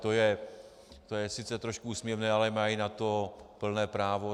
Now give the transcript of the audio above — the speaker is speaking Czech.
To je sice trošku úsměvné, ale mají na to plné právo.